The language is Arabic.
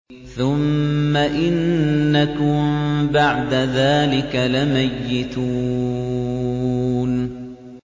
ثُمَّ إِنَّكُم بَعْدَ ذَٰلِكَ لَمَيِّتُونَ